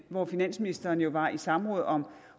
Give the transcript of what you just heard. hvor finansministeren jo var i samråd om